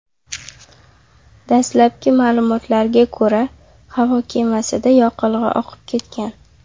Dastlabki ma’lumotlarga ko‘ra, havo kemasida yoqilg‘i oqib ketgan.